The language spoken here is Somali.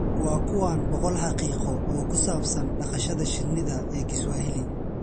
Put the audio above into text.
Waa kuwan boqol xaqiiqo oo ku saabsan dhaqashada shinnida ee Kiswahili: